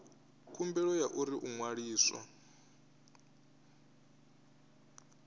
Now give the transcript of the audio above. khumbelo ya uri u ṅwaliswa